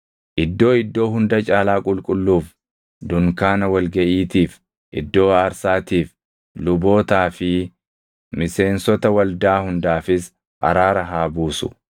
Iddoo Iddoo Hunda Caalaa Qulqulluuf, dunkaana wal gaʼiitiif, iddoo aarsaatiif, lubootaa fi miseensota waldaa hundaafis araara haa buusu.